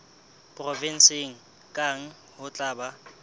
provenseng kang ho tla ba